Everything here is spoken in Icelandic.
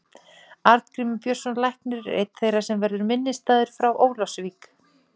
Arngrímur Björnsson læknir er einn þeirra sem verður minnisstæður frá Ólafsvík.